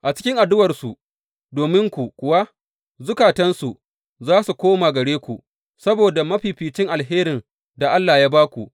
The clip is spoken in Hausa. A cikin addu’arsu dominku kuwa, zukatansu za su koma gare ku, saboda mafificin alherin da Allah ya ba ku.